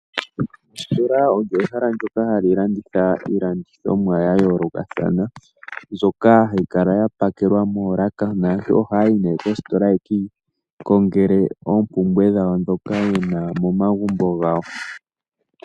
Ositola olyo ehala ndyoka hali landitha iilandithomwa ya yoolokathana mbyoka hayi kala ya pakelwa moolaka naantu ohaya yi nee koositola yeki kongele oompumbwe dhawo dhoka yena momagumbo gawo.